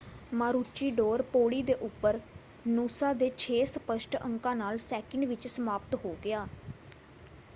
Maroochydore ਪੌੜੀ ਦੇ ਉੱਪਰ ਨੂਸਾ ਦੇ ਛੇ ਸਪਸ਼ਟ ਅੰਕਾਂ ਨਾਲ ਸੈਕਿੰਡ ਵਿੱਚ ਸਮਾਪਤ ਹੋ ਗਿਆ।